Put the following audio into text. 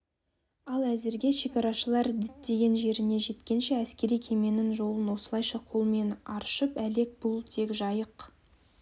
ал әзірге шекарашылар діттеген жеріне жеткенше әскери кеменің жолын осылайша қолмен аршып әлек бұл тек жайық